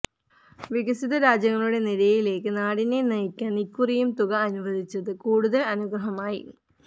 വികസിത രാജ്യങ്ങളുടെ നിരയിലേയ്ക്ക് നാടിനെ നയിക്കാൻ ഇക്കുറിയും തുക അനുവദിച്ചത് കൂടുതൽ അനുഗ്രഹമായി